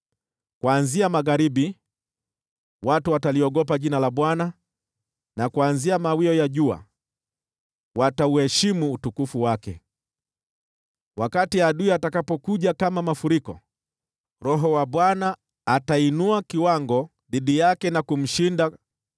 Kuanzia magharibi, watu wataliogopa jina la Bwana na kuanzia mawio ya jua, watauheshimu utukufu wake. Wakati adui atakapokuja kama mafuriko, Roho wa Bwana atainua kiwango dhidi yake na kumshinda.